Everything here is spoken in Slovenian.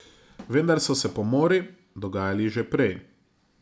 Vendar so se pomori dogajali že prej.